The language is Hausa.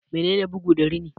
Menene bugu da rini?